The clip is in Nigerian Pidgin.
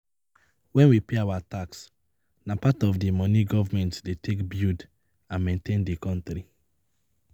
When we pay our tax, na part of di money government dey take build and maintain di country